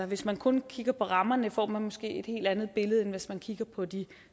hvis man kun kigger på rammerne får man måske et helt andet billede end hvis man kigger på de